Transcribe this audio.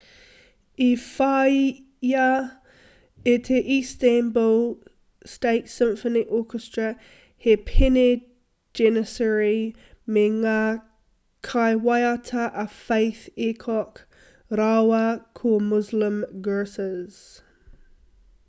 i whāia e te istanbul state symphony orchestra he pēne janissary me ngā kaiwaiata a fatih erkoc rāua ko muslum gurses